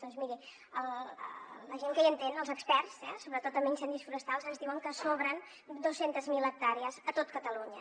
doncs miri la gent que hi entén els experts sobretot en incendis forestals ens diuen que sobren dos cents miler hectàrees a tot catalunya